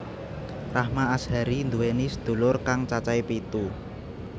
Rahma Azhari nduwèni sedulur kang cacahé pitu